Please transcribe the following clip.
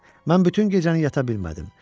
Mən bütün gecəni yata bilmədim.